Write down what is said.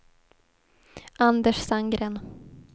Anders Sandgren